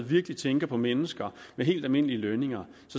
virkelig tænker på mennesker med helt almindelige lønninger